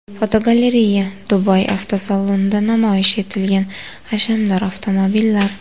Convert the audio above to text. Fotogalereya: Dubay avtosalonida namoyish etilgan hashamdor avtomobillar.